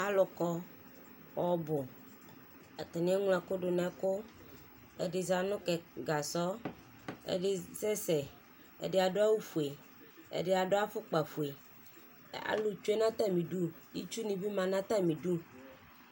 Alʋ kɔ ɔbʋ Atani eŋlo ɛkʋ dʋ nɛkʋ Ɛdi za nʋ kɛ, gasɔ, ɛdi asɛsɛ, ɛdi adʋ awʋ fue Ɛdi adʋ afʋkpa fue Alʋ tsue n'atami idu, itsu ni bi ma nʋ atami idu